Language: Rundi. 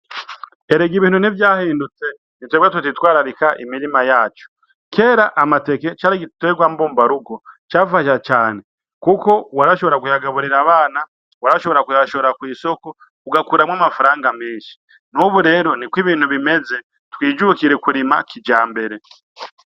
Erega ibintu ntivyahindutse, ni twebwe tutitwararika imirima yacu. Kera amateke cari igiterwa mbumbarugo cafasha cane, kuko warashobora kuyagaburira abana, warashobora kuyashora kw'isoko, ugakuramwo amafaranga menshi. N'ubu rero niko ibintu bimeze. Twijukire kurima kijambere.